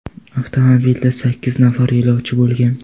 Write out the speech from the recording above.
Avtomobilda sakkiz nafar yo‘lovchi bo‘lgan.